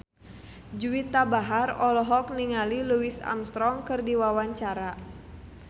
Juwita Bahar olohok ningali Louis Armstrong keur diwawancara